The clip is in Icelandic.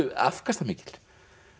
afkastamikil